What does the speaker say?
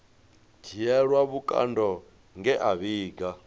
dzhielwa vhukando nge a vhiga